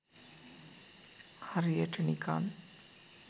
හරියට නිකන්